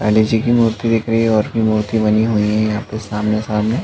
बालाजी की मूर्ति दिख रही है और भी मूर्ति बनी हुई है सामने - सामने --